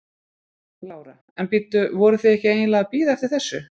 Lára: En bíddu, voruð þið ekki eiginlega að bíða eftir þessu?